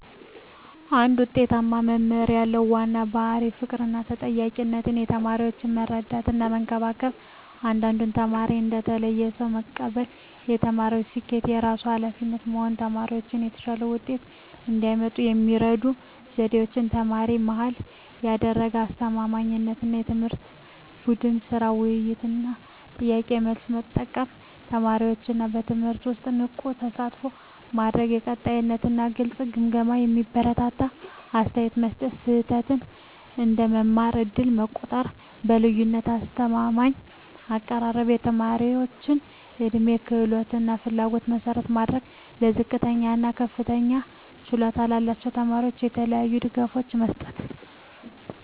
አንድ ውጤታማ መምህር ያለው ዋና ባሕርይ ፍቅርና ተጠያቂነት ተማሪዎችን መረዳትና መከበር እያንዳንዱን ተማሪ እንደ ተለየ ሰው መቀበል የተማሪዎችን ስኬት የራሱ ኃላፊነት መሆን ተማሪዎች የተሻለ ውጤት እንዲያመጡ የሚረዱ ዘዴዎች ተማሪ-መሃል ያደረገ አስተማማኝ ትምህርት ቡድን ሥራ፣ ውይይት እና ጥያቄ–መልስ መጠቀም ተማሪዎችን በትምህርቱ ውስጥ ንቁ ተሳትፎ ማድረግ የቀጣይ እና ግልጽ ግምገማ የሚያበረታታ አስተያየት መስጠት ስህተት እንደ መማር ዕድል መቆጠር የልዩነት አስተማማኝ አቀራረብ የተማሪዎች ዕድሜ፣ ክህሎት እና ፍላጎት መሠረት ማድረግ ለዝቅተኛ እና ለከፍተኛ ችሎታ ያላቸው ተማሪዎች የተለያዩ ድጋፎች መስጠት